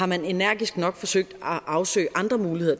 man energisk nok har forsøgt at afsøge andre muligheder